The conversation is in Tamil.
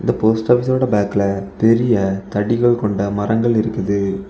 போஸ்ட் ஆபீஸ்ஸோட பேக்ல பெரிய தடிகள் கொண்ட மரங்கள் இருக்குது.